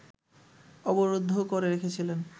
অবরুদ্ধও করে রেখেছিলেন